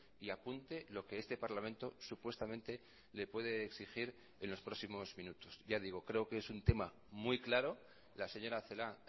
y apunte lo que este parlamento supuestamente le puede exigir en los próximos minutos ya digo creo que es un tema muy claro la señora celaá ha